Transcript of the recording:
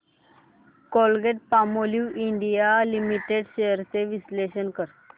Colgate Palmolive India limited shares चे विश्लेषण कर